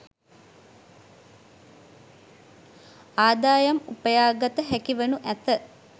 ආදායම් උපයාගත හැකිවනු ඇත.